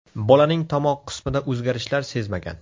Bolaning tomoq qismida o‘zgarishlar sezmagan.